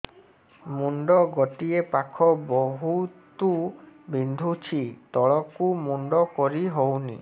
ମୁଣ୍ଡ ଗୋଟିଏ ପାଖ ବହୁତୁ ବିନ୍ଧୁଛି ତଳକୁ ମୁଣ୍ଡ କରି ହଉନି